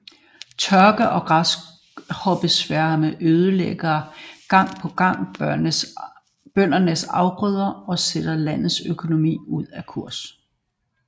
Tørke og græshoppesværme ødelægger gang på gang bøndernes afgrøder og sætter landets økonomi ud af kurs